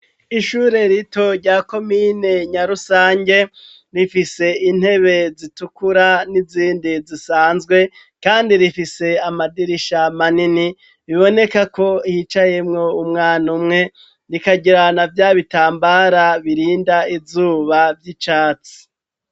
Ishure rito rya komine Nyarusange, rifise intebe zitukura n'izindi zisanzwe kandi rifise amadirisha manini ,biboneka ko yicayemwo umwan' umwe rikagira na vyabitambara birind' izuba vy'icatsi